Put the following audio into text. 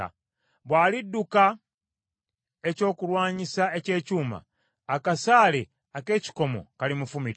Bw’alidduka ekyokulwanyisa eky’ekyuma, akasaale ak’ekikomo kalimufumita.